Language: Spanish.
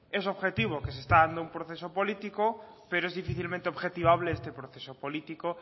es objetivo que se está dando un proceso político pero es difícilmente objetivable este proceso político